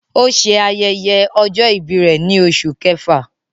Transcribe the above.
O ṣe ayẹyẹ ọjọ-ibi rẹ ni Oṣu Kẹfa